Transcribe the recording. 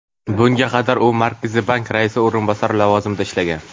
Bunga qadar u Markaziy bank raisi o‘rinbosari lavozimida ishlagan.